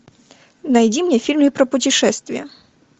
найди мне фильмы про путешествия